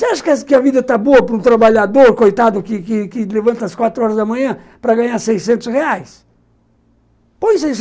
Você acha que a vida está boa para um trabalhador coitado que que que levanta às quatro horas da manhã para ganhar seiscentos reais?